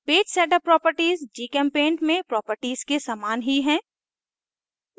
page setup properties gchempaint में properties के समान ही है